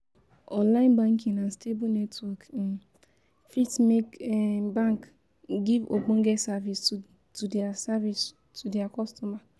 Online banking and stable network um fit make um banks um give ogbonge service to their service to their customers